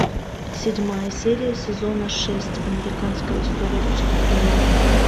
седьмая серия сезона шесть американская история преступлений